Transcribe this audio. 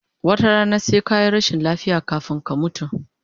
Wata rana sai kayi rashin lafiya kafun ka mutu